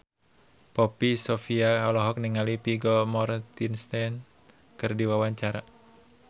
Poppy Sovia olohok ningali Vigo Mortensen keur diwawancara